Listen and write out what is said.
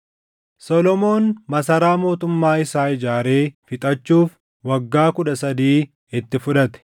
Solomoon masaraa mootummaa isaa ijaaree fixachuuf waggaa kudha sadii itti fudhate.